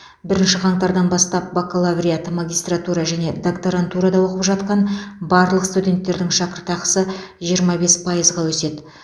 бірінші қаңтардан бастап бакалавриат магистратура және докторантурада оқып жатқан барлық студенттердің шәкіртақысы жиырма бес пайызға өседі